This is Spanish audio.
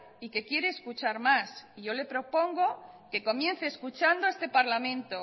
y que quiere escuchar más y yo le propongo que comience escuchando a este parlamento